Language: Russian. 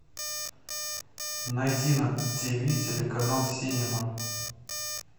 найди на тв телеканал синема